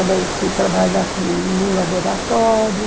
Aí fui trabalhar num laboratório.